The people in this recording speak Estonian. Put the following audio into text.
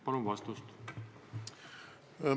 Palun vastust!